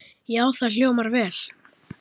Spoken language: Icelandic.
Já, það hljómar vel.